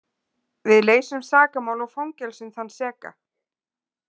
Við leysum sakamál og fangelsum þann seka.